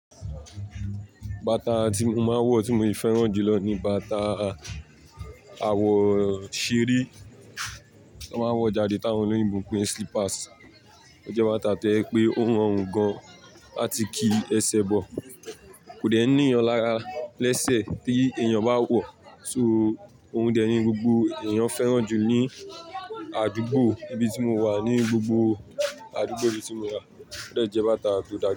Bàtà tí mo máa ń wọ̀ tí mo fẹ́ràn jù lọ ni bàtà àwọ̀n ṣẹ́ẹ́rí tí wọ́n máa ń wọ̀ jáde táwọn olóyìnbo ń pè ni slippers. Ó jẹ́ bàtà tó jẹ pé ó rọrùn gan àti kí ẹsẹ̀ bọ̀. Kò dẹ n níyan lara lẹ́sẹ̀ tí èèyàn bá wọ̀, so òhun dẹ ní gbogbo èèyàn fẹ́ràn jù ní àdúgbò ibi tí mo wà. Ni gbogbo àdúgbò ibi tí mo wà, ó dẹ jẹ́ bàtà tó dáa.